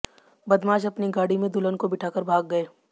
बदमाश अपनी गाड़ी में दुल्हन को बिठाकर भाग गए